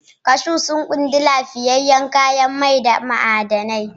Cashews sun ƙunshi lafiyayyen mai da ma'adanai